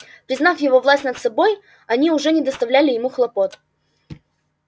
признав его власть над собой они уже не доставляли ему хлопот